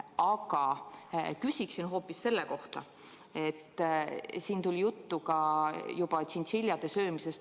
Aga ma küsin hoopis selle kohta: siin oli juttu ka tšintšiljade söömisest.